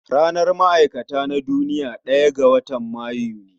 Ranar ma'aikata ta duniya ɗaya ga watan Mayu ne